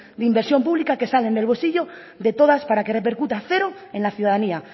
de inversión pública que salen del bolsillo de todas para que repercuta cero en la ciudadanía